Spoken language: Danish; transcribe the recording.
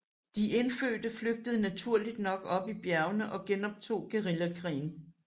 De indfødte flygtede naturligt nok op i bjergene og genoptog guerillakrigen